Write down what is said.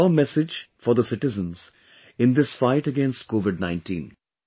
What is your message for the citizens in this fight against COVID19